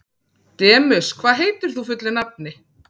Demus, hvað heitir þú fullu nafni?